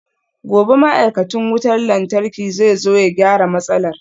Gobe ​​ma'aikacin wutar lantarki zai zo ya gyara matsalar?